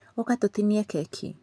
ũka tũtinie keki.